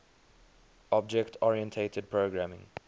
object oriented programming